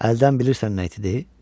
Əldən bilirsən nə itidir?